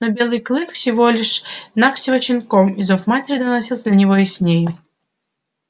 но белый клык был всего навсего щенком и зов матери доносился до него яснее